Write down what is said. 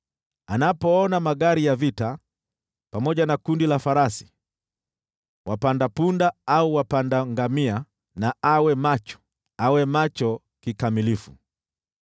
Anapoona magari ya vita pamoja na kundi la farasi, wapanda punda au wapanda ngamia, na awe macho, awe macho kikamilifu.”